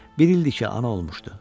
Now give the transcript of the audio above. Bir ildir ki, ana olmuşdu.